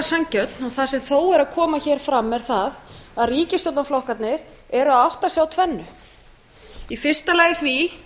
sanngjörn og það sem þó er að koma hér fram er það að ríkisstjórnarflokkarnir eru að átta sig á tvennu í fyrsta lagi því